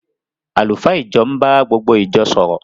Àlùfáà ìjọ ń bá gbogbo ìjọ sọ̀rọ̀